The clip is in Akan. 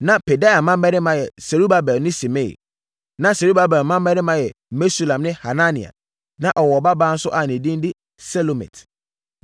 Na Pedaia mmammarima yɛ Serubabel ne Simei. Na Serubabel mmammarima yɛ Mesulam ne Hanania. Na ɔwɔ ɔbabaa nso a ne din de Selomit.